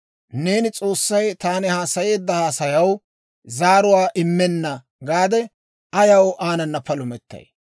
Neeni, ‹S'oossay taani haasayeedda haasayaw zaaruwaa immenna› gaade, ayaw aanana palumettay?